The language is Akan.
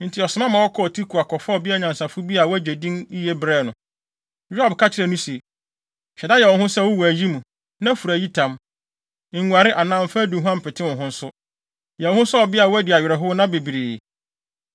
Enti ɔsoma ma wɔkɔɔ Tekoa kɔfaa ɔbea nyansafo bi a wagye din yiye brɛɛ no. Yoab ka kyerɛɛ no se, “Hyɛ da yɛ wo ho sɛ wowɔ ayi mu, na fura ayitam. Nguare anaa mfa aduhuam mpete wo ho nso. Yɛ wo ho sɛ ɔbea a wadi awerɛhow nna bebree.